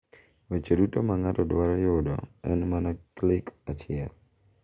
Weche duto ma ng’ato dwaro yudo en mana klik achiel.